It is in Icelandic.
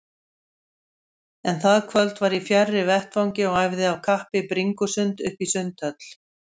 En það kvöld var ég fjarri vettvangi og æfði af kappi bringusund uppí Sundhöll.